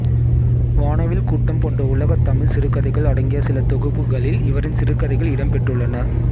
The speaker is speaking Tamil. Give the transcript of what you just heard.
வானவில் கூட்டம் போன்ற உலகத் தமிழ்ச் சிறுகதைகள் அடங்கிய சில தொகுப்புகளில் இவரின் சிறுகதைகள் இடம்பெற்றுள்ளன